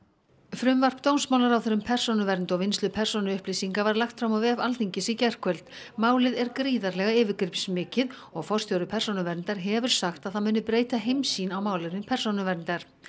frumvarp dómsmálaráðherra um persónuvernd og vinnslu persónuupplýsinga var lagt fram á vef Alþingis í gærkvöld málið er gríðarlega yfirgripsmikið og forstjóri Persónuverndar hefur sagt að það muni breyta heimssýn á málefni persónuverndar